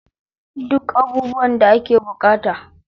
Duk abubuwan da ake bukata.